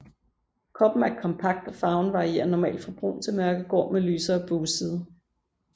Kroppen er kompakt og farven varierer normalt fra brun til mørkegrå med lysere bugside